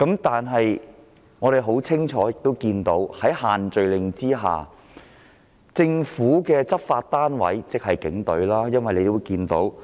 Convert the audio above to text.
但是，市民亦清楚看到在限聚令下，政府的執法單位即警隊的所為。